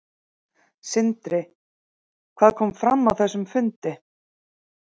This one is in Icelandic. Sindri: Hvað kom fram á þessum fundi?